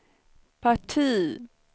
parti